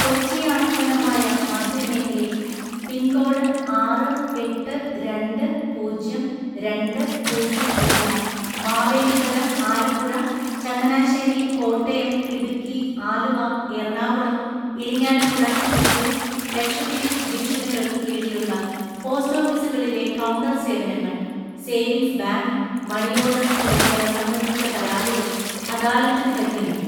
കൊച്ചി ആസ്ഥാനമായ മധ്യ മേഖലയിൽ പിൻകോഡ് ആറു എട്ട് രണ്ട് പൂജ്യം രണ്ടു പൂജ്യം വരുന്ന മാവേലിക്കര, ആലപ്പുഴ, ചങ്ങനാശ്ശേരി, കോട്ടയം, ഇടുക്കി, ആലുവ, എറണാകുളം, ഇരിങ്ങാലക്കുട, തൃശൂര്, ലക്ഷദ്വീപ് ഡിവിഷനുകള്ക്ക് കീഴിലുള്ള പോസ്റ്റ് ഓഫീസുകളിലെ കൗണ്ടര് സേവനങ്ങള്‍, സേവിങ്സ് ബാങ്ക്, മണിയോഡര്‍ തുടങ്ങിയവ സംബന്ധിച്ച പരാതികള്‍ അദാലത്തില്‍ പരിഗണിക്കും.